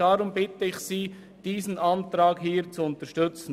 Deshalb bitte ich Sie, diese Anträge zu unterstützen.